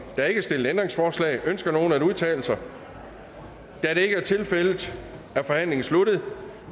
er ikke stillet ændringsforslag ønsker nogen at udtale sig da det ikke er tilfældet er forhandlingen sluttet